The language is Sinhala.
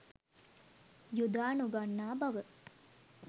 යොදා නොගන්නා බව